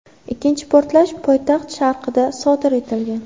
Ikkinchi portlash poytaxt sharqida sodir etilgan.